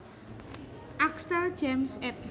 Axtell James ed